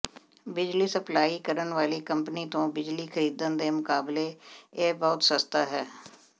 ਬਿਜਲੀ ਸਪਲਾਈ ਕਰਨ ਵਾਲੀ ਕੰਪਨੀ ਤੋਂ ਬਿਜਲੀ ਖਰੀਦਣ ਦੇ ਮੁਕਾਬਲੇ ਇਹ ਬਹੁਤ ਸਸਤਾ ਹੈ